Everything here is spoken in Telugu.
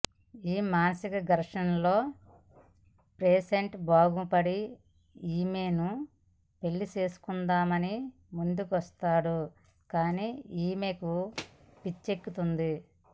ఈ మానసిక ఘర్షణలో పేషంటు బాగుపడి యీమెను పెళ్లి చేసుకుందామని ముందుకొస్తాడు కానీ యీమెకే పిచ్చెక్కుతుంది